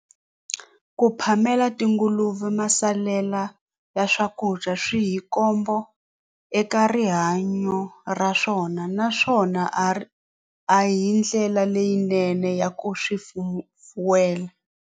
Ku phamela tinguluve masalela ya swakudya swi hi khombo eka rihanyo ra swona naswona a ri a hi ndlela leyinene ya ku swi fuwela.